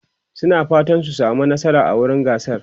suna fatan su samu nasara a wurin gasar